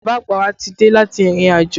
Bàbá àgbà wa ti dé láti ìrìnàjò